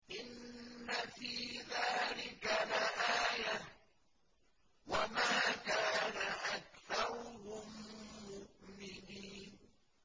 إِنَّ فِي ذَٰلِكَ لَآيَةً ۖ وَمَا كَانَ أَكْثَرُهُم مُّؤْمِنِينَ